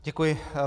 Děkuji.